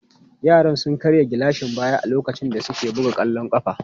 Yaran sun karya gilashin baya a lokacin da suke buga kwallon kafa.